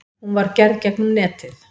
Hún var gerð gegnum netið.